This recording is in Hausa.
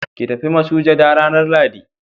ki tafi masujada ranan lahadi